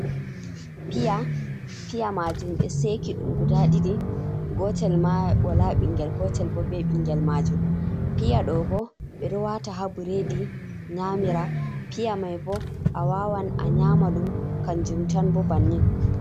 Piya majum be seki dumguda ɗiɗi gotel ma wala bingel gotel bo ɓe ɓingel majum piya ɗo bo ɓe do wata ha buredi nyamira piya mai bo a wawan a nyama ɗum kanjumtan bo bannin.